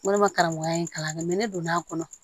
Walima karamɔgɔya in kalan dɛ ne donn'a kɔnɔ